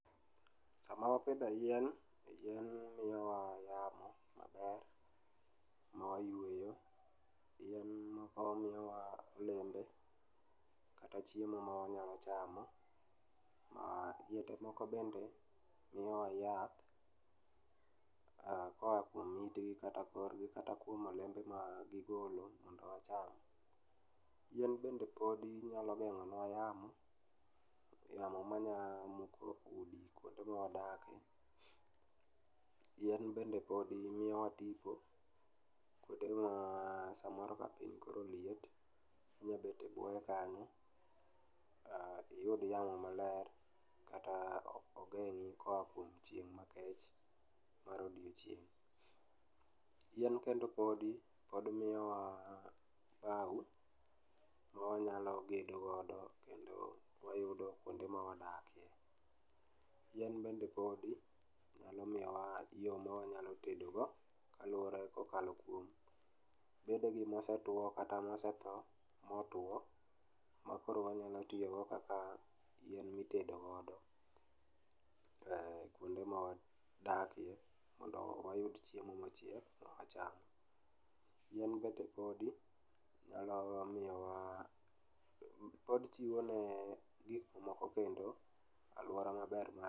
Sama wapidho yien, yien miyowa yamo maber mwayweyo. Yien go miyowa olembe kata chiemo mawanyalo chamo ma, yiende moko bende miyowa yath, ah koa kuom itgi kata korgi kata kuom olembe ma gigolo mondo wacham. Yien bende podi nyalo geng'onwa yamo, yamo manya muko udi kuonde mwadake. Yien bende podi miyowa tipo kuonde ma samoro ka piny koro liet, inyabet e buoye kanyo iyud yamo maler, kata ogeng'i koa kuom chieng' makech mar odiochieng'. Yien kendo podi pod miyowa bau, mawanyalo gedogodo kendo wayudo kuonde mawadake. Yien bende podi, nyalo miyowa yo ma wanyalo tedogo kaluwore kokalo kuom bedegi mosetwo kata mosetho motwo makoro wanyalo tiyogo kaka yien mitedogodo, kuonde mawadakie mondo wayud chiemo mochiek mo wacham. Yien go te podi, nyalo miyowa, pod chiwo ne gik moko kendo alwora maber ma.